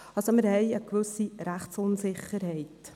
Also, wir haben eine gewisse Rechtsunsicherheit.